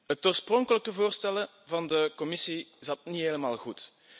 Het oorspronkelijke voorstel van de Commissie zat niet helemaal goed.